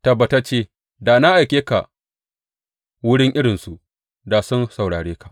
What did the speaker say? Tabbatacce da na aike ka wurin irinsu, da sun saurare ka.